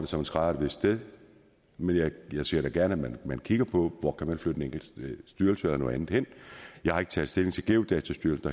som en skrædder et vist sted men jeg ser da gerne at man kigger på hvor man kan flytte en enkelt styrelse eller noget andet hen jeg har ikke taget stilling til geodatastyrelsen